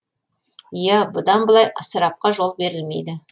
иә бұдан былай ысырапқа жол берілмейді